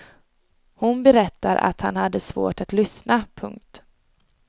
Hon berättar att han hade svårt att lyssna. punkt